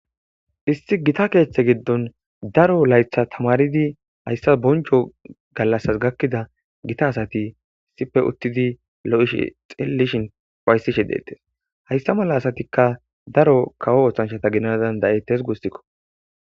Isti gita keeththe giddon daro laytha tamaridi hayssa boncho gallassas gakkida gita asati issippe uttidi lo7ishe xellishin ufaytishe deetees. Hayssa mala asatikka daro kawo oothanchata gidana danda7ettes gussikko.